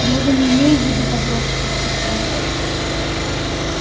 я же не имею в виду подростков и стариков